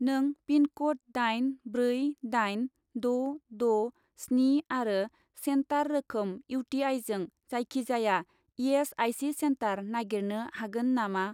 नों पिनक'ड दाइन ब्रै दाइन द' द' स्नि आरो सेन्टार रोखोम इउ.टि.आइ.जों जायखिजाया इ.एस.आइ.सि. सेन्टार नागिरनो हागोन नामा?